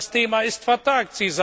Das Thema ist vertagt.